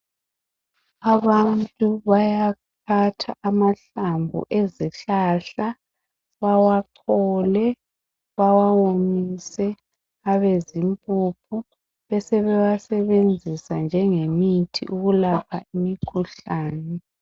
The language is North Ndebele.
Abantu bayaphatha amahlamvu ezihlahla bawachole, bawawomise abezimpuphu, besebewasebenzisa njengemithi ukulapha imikhuhlane.